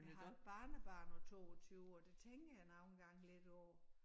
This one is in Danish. Jeg har et barnebarn på 22 og det tænker jeg nogle gange lidt over